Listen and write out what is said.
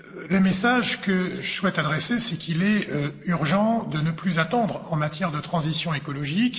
Le message que je souhaite adresser, c'est qu'il est urgent de ne plus attendre en matière de transition écologique.